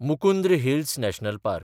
Mukundra hills national park